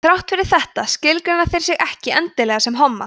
þrátt fyrir þetta skilgreina þeir sig ekki endilega sem homma